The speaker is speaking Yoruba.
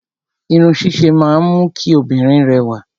Irun ṣíṣe máa ń mú kí obìnrin rẹwà.